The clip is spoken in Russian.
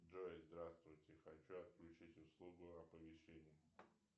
джой здравствуйте хочу отключить услугу оповещения